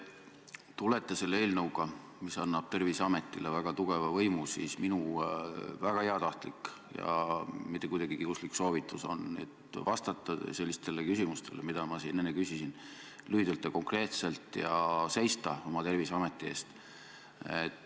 Kui te tulete siia eelnõuga, mis annab Terviseametile väga tugeva võimu, siis minu väga heatahtlik ja mitte kuidagi kiuslik soovitus on, et vastake sellistele küsimustele, mida ma siin enne küsisin, lühidalt ja konkreetselt ja seiske oma Terviseameti eest.